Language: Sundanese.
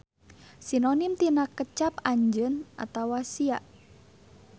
Sinonim tina kecap anjeun atawa sia.